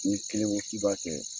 N'i kelen ko k'i b'a kɛ